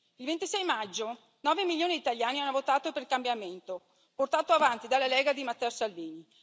Il 26 maggio, 9 milioni di italiani hanno votato per il cambiamento, portato avanti dalla Lega di Matteo Salvini.